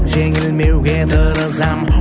жеңілмеуге тырысам